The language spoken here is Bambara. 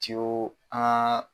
Ciyo an